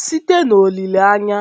“ Site n’olileanya,